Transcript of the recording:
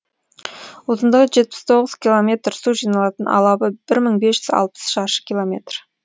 ұзындығы жетпіс тоғыз километр су жиналатын алабы бір мың бес жүз алпыс шаршы километр